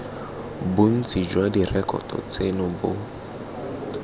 bontsi jwa direkoto tseno bo